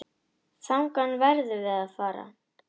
Þangað verðum við að fara.